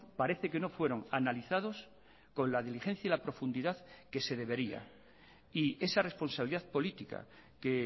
parece que no fueron analizados con la diligencia y la profundidad que se debería y esa responsabilidad política que